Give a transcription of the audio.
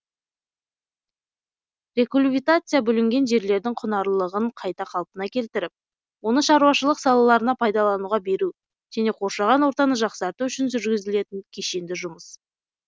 рекульвитация бүлінген жерлердің құнарлылығын қайта қалпына келтіріп оны шаруашылық салаларына пайдалануға беру және қоршаған ортаны жақсарту үшін жүргізілетін кешенді жұмыс